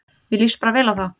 Mér líst bara vel á þá